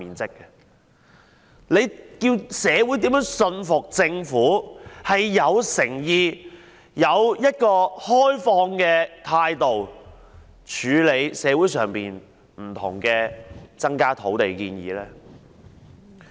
這樣叫社會如何信服政府有誠意、持開放的態度處理社會增加土地的各項建議呢？